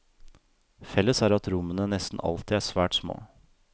Felles er at rommene nesten alltid er svært små.